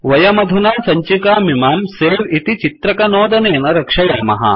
वयमधुना सञ्चिकामिमां सवे इति चित्रकनोदनेन रक्षयामः